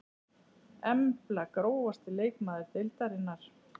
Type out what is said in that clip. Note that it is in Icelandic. Embla Grófasti leikmaður deildarinnar?